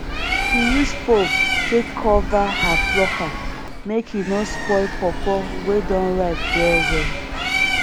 she use form take cover her plucker make e no spoil powpow wey don rip wellwell